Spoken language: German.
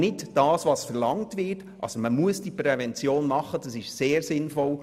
Man muss Prävention machen, das ist sehr sinnvoll.